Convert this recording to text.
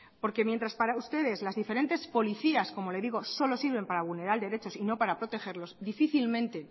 porque mientras para ustedes las diferentes policías como le digo solo sirven para vulnerar derechos y no para protegerlos difícilmente